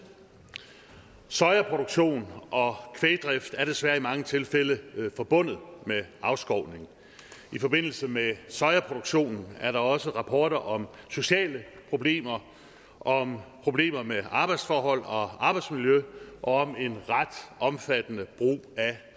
sojaproduktion og kvægdrift er desværre i mange tilfælde forbundet med afskovning i forbindelse med sojaproduktionen er der også rapporter om sociale problemer om problemer med arbejdsforhold og arbejdsmiljø og om en ret omfattende brug af